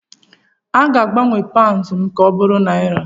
a ga-agbanwe paụnd m ka ọ bụrụ naira